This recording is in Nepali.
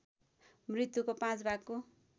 मृत्युको पाँच भागको